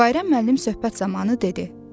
Bayram müəllim söhbət zamanı dedi: